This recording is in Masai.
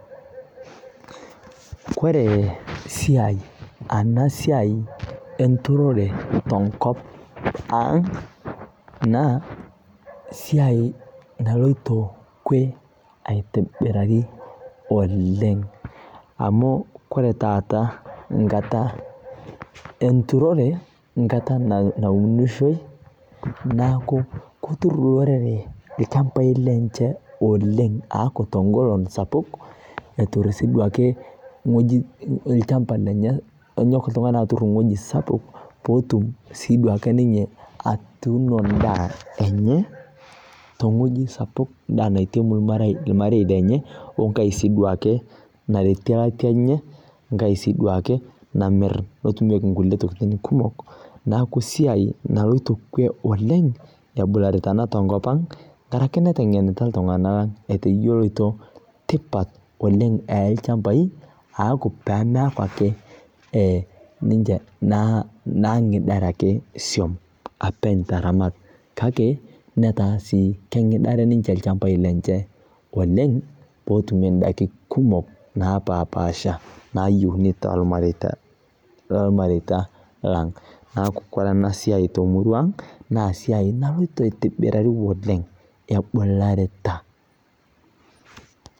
Kore ena siai enturore tenkop ang' naa esiai naloito kwe aitobiraki oleng'. Amu ore taata enkata enturore, enkata naunishoi, neaku ketur olorere ilchambai lenye olenng' o teng'olon sapuk, etur sii duo ake ilchamba lenye, enyok ii duo ake oltung'ani atur ewueji sapuk, peetum sii duo ake oltung'ani atuuno endaa enye tewueji sapuk naa endaa naitiemu olmarei lenye, we enkai sii duo ake naretie aate enye, we enkai sii duo ake namir pee etumieki nkulie tokitin kumok. Neaku esiai ena naloito kwe oleng' ena tenkop ang', ebularita naa iltung'ana, enkaraki neteng'enita iltung'ana etoyioloito tipat oleng' olchambai, pee meaku ake ninye naag'idare ake siom openy naaramat, kake sii keng'idare ninche ilchambai lenye oleng' pee etum indaiki kumok naa napaspasha nayiouni toolmareita lang'. Neaku ore ena siai temururuang' naa esiai naloito aitobirau oleng' ebularita.